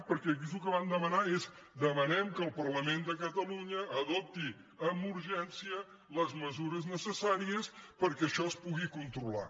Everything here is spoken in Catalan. perquè aquí el que van demanar és demanem que el parlament de catalunya adopti amb urgència les mesures necessàries perquè això es pugui controlar